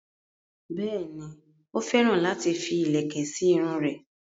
Bẹ́ẹ̀ni, ó féràn láti fi ìlẹ̀kẹ̀ sí irun rẹ̀